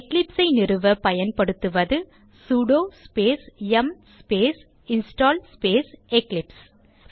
eclipse ஐ நிறுவ பயன்படுத்துவது சுடோ ஸ்பேஸ் யும் ஸ்பேஸ் இன்ஸ்டால் ஸ்பேஸ் எக்லிப்ஸ்